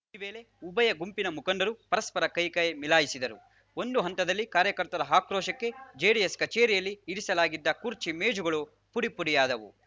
ಈ ವೇಳೆ ಉಭಯ ಗುಂಪಿನ ಮುಖಂಡರು ಪರಸ್ಪರ ಕೈಕೈ ಮಿಲಾಯಿಸಿದರು ಒಂದು ಹಂತದಲ್ಲಿ ಕಾರ್ಯಕರ್ತರ ಆಕ್ರೋಶಕ್ಕೆ ಜೆಡಿಎಸ್‌ ಕಚೇರಿಯಲ್ಲಿ ಇರಿಸಲಾಗಿದ್ದ ಕುರ್ಚಿ ಮೇಜುಗಳು ಪುಡಿ ಪುಡಿಯಾದವು